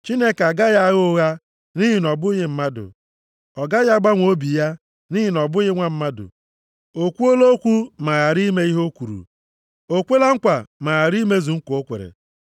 Chineke agaghị agha ụgha, nʼihi na ọ bụghị mmadụ. Ọ gaghị agbanwe obi ya, nʼihi na ọ bụghị nwa mmadụ. O kwuola okwu, ma ghara ime ihe o kwuru? O kwela nkwa ma ghara imezu nkwa o kwere?